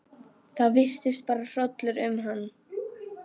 Það virtist fara hrollur um hann.